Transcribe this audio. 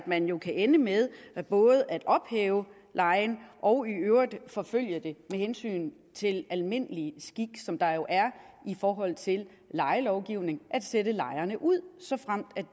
man kan ende med at både ophæve lejen og i øvrigt forfølge det med hensyn til almindelig skik som der jo er i forhold til lejelovgivningen at sætte lejerne ud såfremt